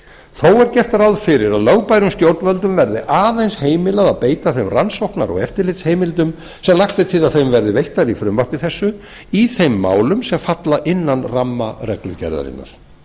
er gert ráð fyrir að lögbærum stjórnvöldum verði aðeins heimilað að beita þeim rannsóknar og eftirlitsheimildum sem lagt er til að þeim verði veittar í frumvarpi þessu í þeim málum sem falla innan ramma reglugerðarinnar